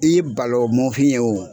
I balawu mɔnfin ye o